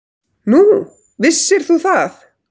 Nú, vissir þú það?